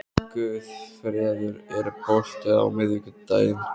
Guðfreður, er bolti á miðvikudaginn?